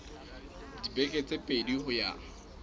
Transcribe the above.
dibeke tse pedi ho ya